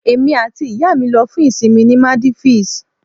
Èmi àti ìyá mi lọ fún ìsìnmi ní Maldives